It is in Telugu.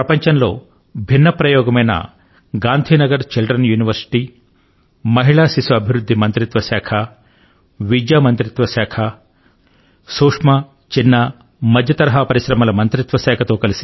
ప్రపంచంలో భిన్నమైన ప్రయోగమైన గాంధీనగర్ చిల్డ్రన్ యూనివర్శిటీ మహిళా శిశు అభివృద్ధి మంత్రిత్వ శాఖ విద్యా మంత్రిత్వ శాఖ సూక్ష్మ లఘు మధ్యతరహా పరిశ్రమల మంత్రిత్వ శాఖ